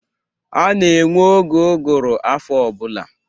A na-enwe oge ụgụrụ afọ ọbụla